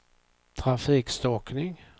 trafikstockning